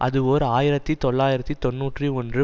அது ஓர் ஆயிரத்தி தொள்ளாயிரத்து தொன்னூற்றி ஒன்று